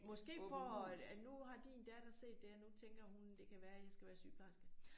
Måske for at at nu har din datter set det og nu tænker hun det kan være jeg skal være sygeplejerske